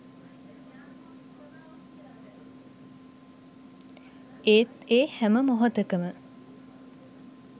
ඒත් ඒ හැම මොහොතකම